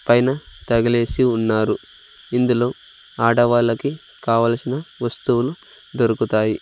పైన తగిలేసి ఉన్నారు ఇందులో ఆడవాళ్ళకి కావలసిన వస్తువులు దొరుకుతాయి.